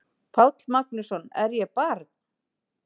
Páll Magnússon: Er ég barn?